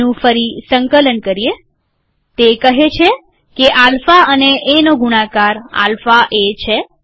તેનું ફરી સંકલન કરીએતે કહે છે કે આલ્ફા અને એનો ગુણાકાર આલ્ફા એ છે